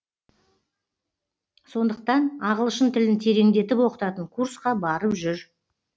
сондықтан ағылшын тілін тереңдетіп оқытатын курсқа барып жүр